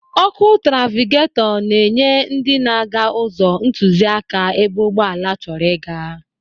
Ọ́kụ́ trafịketọ na-enye ndị na-aga ụzọ ntụziaka ebe ụgbọala chọrọ ịga.